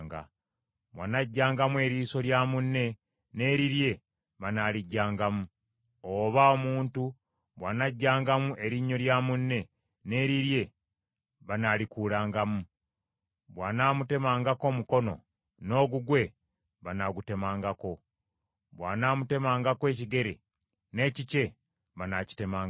bw’anaaggyangamu eriiso lya munne, n’erirye banaaligyangamu, oba omuntu bw’anaaggyangamu erinnyo lya munne, n’erirye banaalikuulangamu, bw’anaamutemangako omukono, n’ogugwe banaagutemangako, bw’anaamutemangako ekigere, n’ekikye banaakitemangako,